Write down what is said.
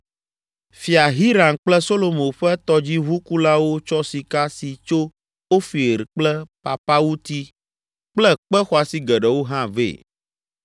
Fia Hiram kple Solomo ƒe tɔdziʋukulawo tsɔ sika si tso Ofir kple papawuti kple kpe xɔasi geɖewo hã vɛ.